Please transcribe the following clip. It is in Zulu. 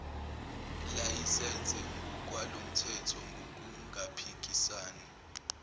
layisense ngokwalomthetho ngokungaphikisani